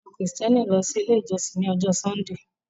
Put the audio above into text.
Awọn kristiani n lọ si ile ijọsin ni ọjọ Sundee